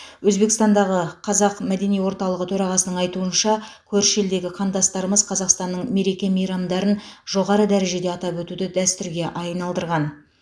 өзбекстандағы қазақ мәдени орталығы төрағасының айтуынша көрші елдегі қандастарымыз қазақстанның мереке мейрамдарын жоғары дәрежеде атап өтуді дәстүрге айналдырған